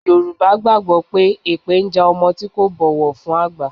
Yorùbá gbàgbó pé epe ń ja ọmọ tí kò bọ̀wọ̀ fún àgbà.